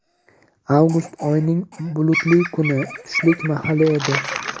Avgust oyining bulutli kuni, tushlik mahali edi.